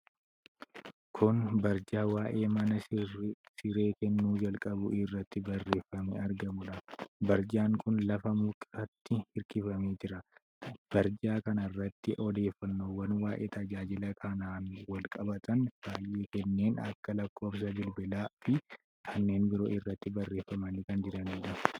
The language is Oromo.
Kun Taappellaa waa'ee mana siree kennuu jalqabuu irratti barreefamee argamudha. Taappellaan kun lafa mukatti hirkifamee jira. Taappellaa kanarratti odeeffannoowwan waa'ee tajaajila kanaan wal qabatan baay'een kanneen akka lakkoofsa bilbilaa fi kanneen biroo irratti barraa'anii kan jiranidha.